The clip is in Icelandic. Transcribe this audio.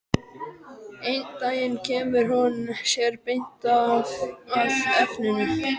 Einn daginn kemur hún sér beint að efninu.